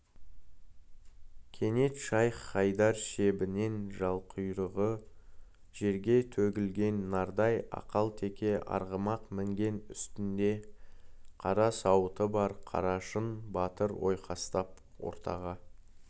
кенет шайх-хайдар шебінен жал-құйрығы жерге төгілген нардай ақал-теке арғымақ мінген үстінде қара сауыты бар қарашың батыр ойқастап ортаға